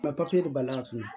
balila tuguni